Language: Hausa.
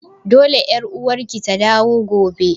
Dole ƴar uwarki ta dawo gobe!